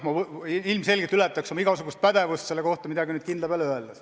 Ma ilmselgelt ületaks oma igasugust pädevust, kui selle kohta midagi kindlat püüaksin öelda.